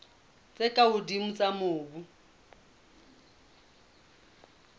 tse ka hodimo tsa mobu